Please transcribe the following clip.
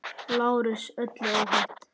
LÁRUS: Öllu óhætt!